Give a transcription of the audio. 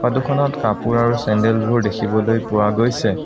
ফটোখনত কাপোৰ আৰু চেণ্ডেলবোৰ দেখিবলৈ পোৱা গৈছে।